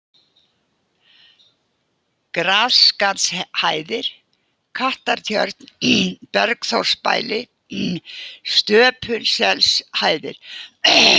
Grasskarðshæðir, Kattartjörn, Bergþórsbæli, Stöpulselshæðir